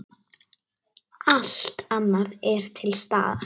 Allt annað er til staðar.